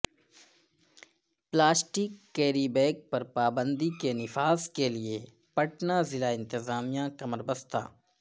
plastic carry bag پر پابندی کے نفاذکیلئے پٹنہ ضلع انتظامیہ کمر بستہ